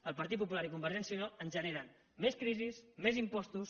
el partit popular i convergència i unió ens generen més crisi més impostos